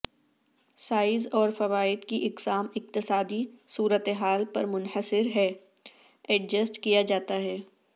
size اور فوائد کی اقسام اقتصادی صورتحال پر منحصر ہے ایڈجسٹ کیا جاتا ہے